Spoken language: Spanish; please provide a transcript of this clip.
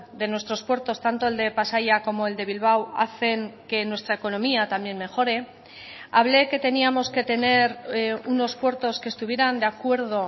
de nuestros puertos tanto el de pasaia como el de bilbao hacen que nuestra economía también mejore hable que teníamos que tener unos puertos que estuvieran de acuerdo